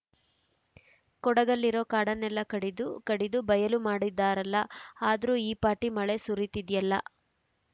ಕೊಡಗಲ್ಲಿರೋ ಕಾಡನ್ನೆಲ್ಲ ಕಡಿದು ಕಡಿದು ಬಯಲು ಮಾಡಿದ್ದಾರಲ್ಲ ಆದ್ರೂ ಈ ಪಾಟಿ ಮಳೆ ಸುರೀತಿದ್ಯಲ್ಲ